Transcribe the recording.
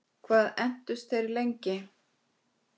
Hvað entust þeir lengi?